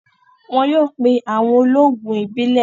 Wọn yóò pé awọn òlóogùn ìbílẹ̀.